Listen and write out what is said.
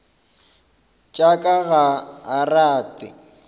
tša ka ga a rate